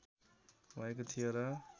भएको थियो र